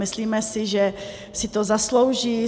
Myslíme si, že si to zaslouží.